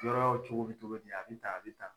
yɔrɔw cogo be cogo di a bɛ tan a bɛ tan